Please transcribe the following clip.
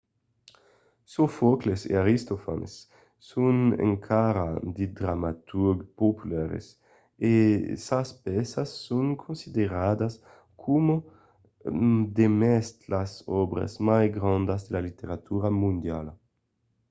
sofòcles e aristofanes son encara de dramaturgs populars e sas pèças son consideradas coma demest las òbras mai grandas de la literatura mondiala